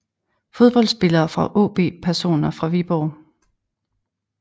Fodboldspillere fra AaB Personer fra Viborg